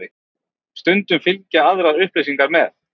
Stundum fylgja aðrar upplýsingar með.